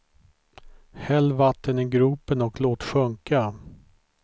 Häll vatten i gropen och låt sjunka.